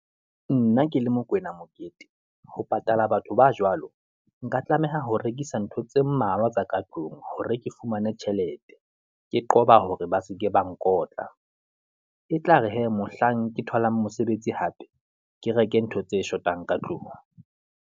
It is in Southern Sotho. Nna ke le Mokwena Mokete, ho patala batho ba jwalo, nka tlameha ho rekisa ntho tse mmalwa tsa ka tlung, hore ke fumane tjhelete, ke qoba hore ba se ke ba nkotla. E tlare hee, mohlang ke tholang mosebetsi hape, ke reke ntho tse shotang ka tlung.